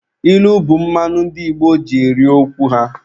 Ilu bụ mmanụ ndị Igbo ji eri okwu ha.